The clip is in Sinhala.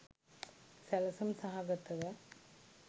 සැළසුම් සහගතව